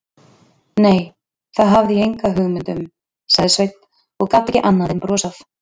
Nei, það hafði ég enga hugmynd um, sagði Sveinn og gat ekki annað en brosað.